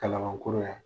Kalabankɔrɔ yan